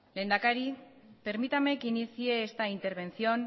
lehendakari permítame que inicie esta intervención